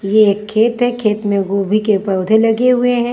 ये एक खेत है खेत में गोभी के पौधे लगे हुए हैं।